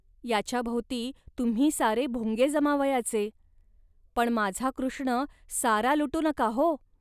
याच्या भोवती तुम्ही सारे भुंगे जमावयाचे. पण माझा कृष्ण सारा लुटू नका, हो